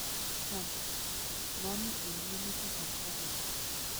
Trump; Mamii eng lelutik ab Cohen